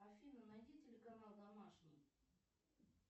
афина найди телеканал домашний